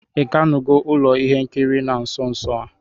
Ị gánugó ụlọ ihe nkiri na nso nso a?